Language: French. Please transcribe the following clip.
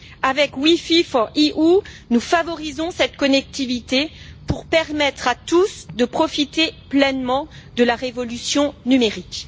Avec WiFi4EU, nous favorisons cette connectivité pour permettre à tous de profiter pleinement de la révolution numérique.